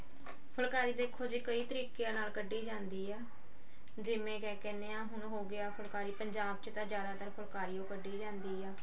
ਫੁਲਕਾਰੀ ਦੇਖੋ ਜੀ ਕਈ ਤਰੀਕਿਆਂ ਨਾਲ ਕੱਢੀ ਜਾਂਦੀ ਹੈ ਜਿਵੇਂ ਕਿਆ ਕਹਿਨੇ ਆ ਹੁਣ ਹੋਗਿਆ ਫੁਲਕਾਰੀ ਪੰਜਾਬ ਚ ਆਂ ਜਿਆਦਾਤਰ ਫੁਲਕਾਰੀ ਓ ਕੱਢੀ ਜਾਂਦੀ ਆ